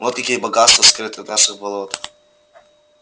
вот какие богатства скрыты в наших болотах